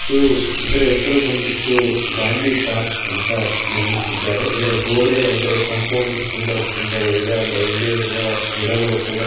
ಇದು ಇದರ ಹೆಸರು ಬಂದ್ಬಿಟ್ಟು ಗಾಂಧಿ ಪಾರ್ಕ್ ಅಂಥ ನಿರ್ಮಿಸಿದ್ದಾರೆ. ಇದರ ಗೋಡೆ ಅಂದರೆ ಕಾಂಪೌಂಡ್ ತುಂಬ ಸುಂದರವಾಗಿದೆ. ಅದರ ಹಿಂದೆ ಇರುವ ಗಿಡಗಳು ಕೂಡ--